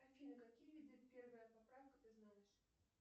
афина какие виды первая поправка ты знаешь